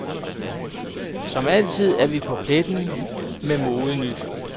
Som altid er vi på pletten med modenyt.